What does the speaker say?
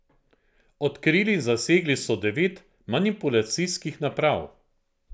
Odkrili in zasegli so devet manipulacijskih naprav.